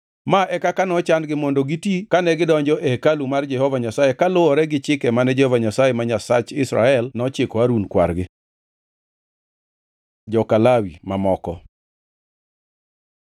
Ma e kaka nochan-gi mondo giti kane gidonjo e hekalu mar Jehova Nyasaye kaluwore gi chike mane Jehova Nyasaye ma Nyasach Israel nochiko Harun kwargi. Joka Lawi mamoko